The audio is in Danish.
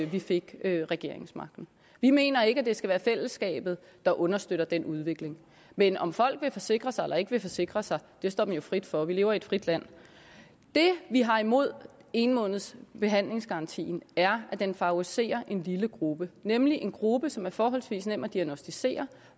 vi fik regeringsmagten vi mener ikke at det skal være fællesskabet der understøtter den udvikling men om folk vil forsikre sig eller ikke vil forsikre sig står dem jo frit for vi lever i et frit land det vi har imod en måneds behandlingsgarantien er at den favoriserer en lille gruppe nemlig en gruppe som er forholdsvis nem at diagnosticere